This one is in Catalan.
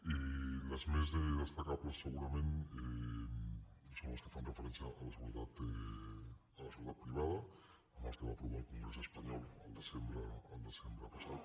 i les més destacables segurament són les que fan referència a la seguretat privada amb el que va aprovar el congrés espanyol al desembre passat